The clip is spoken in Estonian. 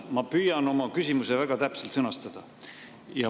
Ma püüan oma küsimuse väga täpselt sõnastada.